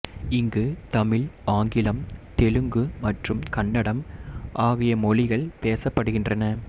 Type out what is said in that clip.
இங்கு தமிழ் ஆங்கிலம் தெலுங்கு மற்றும் கன்னடம் ஆகிய மொழிகள் பேசப்படுகின்றன